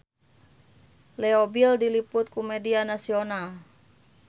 Leo Bill diliput ku media nasional